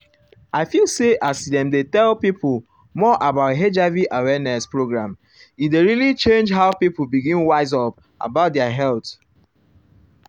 i feel say as dem dey tell pipo more about hiv awareness program e dey really change how pipo begin wise up about their their health.